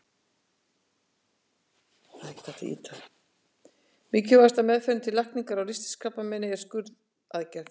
Mikilvægasta meðferðin til lækningar á ristilkrabbameini er skurðaðgerð.